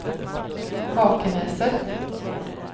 Hakenäset